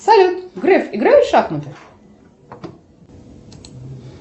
салют греф играет в шахматы